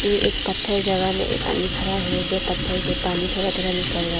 ये एक पत्थर जगह में एक आदमी खड़ा है जो पत्थर से पानी थोड़ा थोड़ा निकल रहा है।